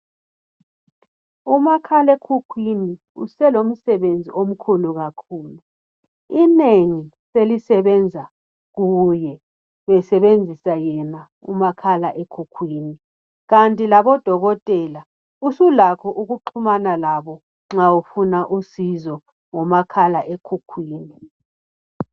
Umakhalekhukhwini uselomsebenzi omkhulu kakhulu. Inengi selisebenza kuye. Besebenzisa yena umakhala ekhukhwini. Kanti lobodokotela usulakho ukuxhumana labo nxa ufuna usizo ngomakhala ekhukhwini.